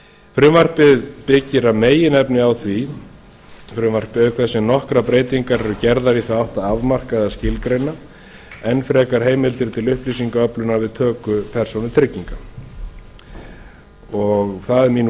frumvarpið byggir að meginefni á því auk þess sem nokkrar breytingar eru gerðar í þá átt að afmarka eða skilgreina enn frekar heimildir til upplýsingaöflunar við töku persónutrygginga það er mín